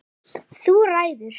Við tökum það með okkur.